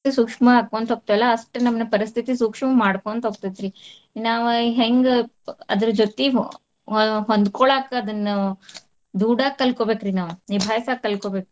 ಸೂಕ್ಷ್ಮ ಆಕ್ಕೊಂತ ಹೋಗ್ತೇವಲ್ಲ ಅಷ್ಟ್ ನಮನ ಪರಸ್ತಿತಿ ಸೂಕ್ಷ್ಮ ಮಾಡ್ಕೊಂತ ಹೋಗ್ತೈತ್ರಿ. ನಾವ್ ಹೆಂಗ್ ಅದ್ರ ಜೊತಿ ಹೊ~ಹೊಂದಕೋಳಾಕ ಅದನ್ನ ದುಡಾಕ ಕಲ್ಕೊಬೇಕ್ರಿ ನಾವ್ ನಿಭಾಯ್ಸಾಕ ಕಲ್ಕೊಬೇಕ್.